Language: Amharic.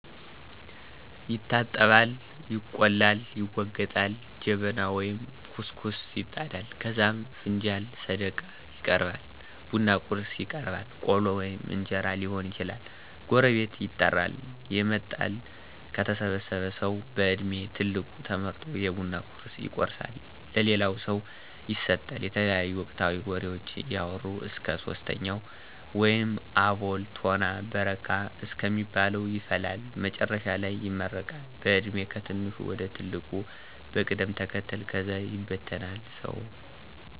ይታጠባል፣ ይቆላል፣ ይወገጣል፣ ጀበና ወይም ኩስኩስት ይጣዳል ከዛም ፍንጃልና ሰደቃ ይቀራርባል፣ ቡና ቁርስ ይቀርባል ቆሎ ወይም እንጀራ ሊሆን ይችላል፤ ጎረቤት ይጠራል የመጣል፤ ከተሰበሰበው ሠዉ በድሜ ትልቁ ተመርጦ የቡና ቁርሡን ይቆርሣል ለሌላው ሠው ይሠጣል። የተለያዩ ወቅታዊ ወሬዎችን እያወራ እስከ ሶስተኛው ወይንም አቦል፣ ቶና በረካ እስከሚባለው ይፈላል። መጨረሻ ላይ ይመረቀል በዕድሜ ከትንሹ ወደ ትልቁ በቅደም ተከተል ከዛ ይበተናል ሰው።